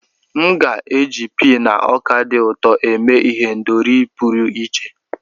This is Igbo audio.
M ga-eji pii na ọka dị ụtọ eme ihendori pụrụ iche.